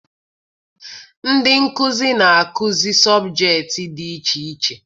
Ndị nkụzi na-akụzi sọbjektị dị iche iche